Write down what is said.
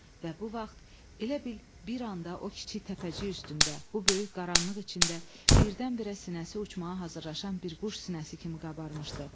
Və bu vaxt elə bil bir anda o kiçik təpəcik üstündə, bu böyük qaranlıq içində birdən-birə sinəsi uçmağa hazırlaşan bir quş sinəsi kimi qabarmışdı.